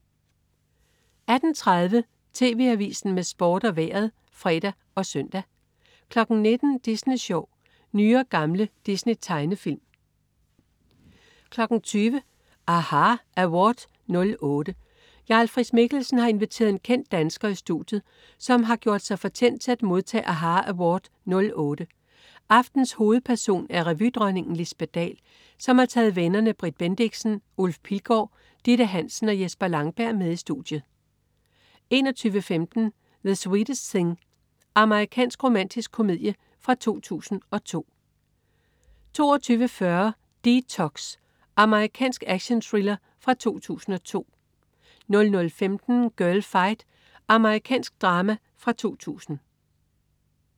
18.30 TV Avisen med Sport og Vejret (fre og søn) 19.00 Disney Sjov. Nye og gamle Disney-tegnefilm 20.00 aHA! Award '08. Jarl Friis-Mikkelsen har inviteret en kendt dansker i studiet, som har gjort sig fortjent til at modtage aHA! Award '08. Aftenens hovedperson er revydronningen Lisbet Dahl, som har taget vennerne Britt Bendixen, Ulf Pilgaard, Ditte Hansen og Jesper Langberg med i studiet 21.15 The Sweetest Thing. Amerikansk romantisk komedie fra 2002 22.40 D-Tox. Amerikansk actionthriller fra 2002 00.15 Girlfight. Amerikansk drama fra 2000